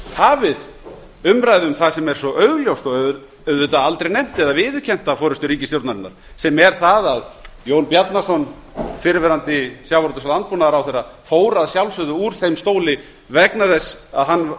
hafið umræðu um það sem er svo augljóst og auðvitað aldrei nefnt eða viðurkennt af forustu ríkisstjórnarinnar sem er það að jón bjarnason fyrrverandi sjávarútvegs og landbúnaðarráðherra fór að sjálfsögðu úr þeim stóli vegna þess að hann